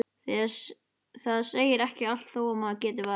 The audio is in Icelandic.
Það segir ekki allt þó að maður geti valið.